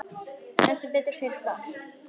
En sem betur fer bar